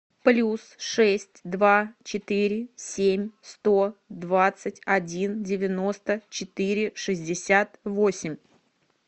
плюс шесть два четыре семь сто двадцать один девяносто четыре шестьдесят восемь